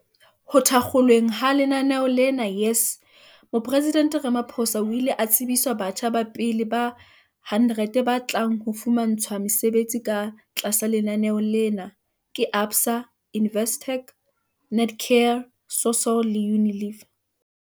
Ho thakgolweng ha lenaneo la YES Moporesidente Ramaphosa o ile a tsebiswa batjha ba pele ba 100 ba tlang ho fumantshwa mesebetsi ka tlasa lenaneo lena ke ABSA, Investec, Netcare, Sasol le Unilever.